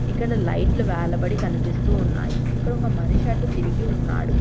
ఇక్కడ లైట్లు వెలబడి కనిపిస్తూ ఉన్నాయి ఇక్కడ ఒక మనిషి అటు తిరిగి ఉన్నాడు.